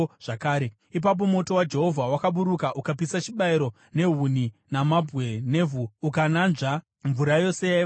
Ipapo moto waJehovha wakaburuka ukapisa chibayiro, nehuni namabwe nevhu, ukananzva mvura yose yaiva mumugero.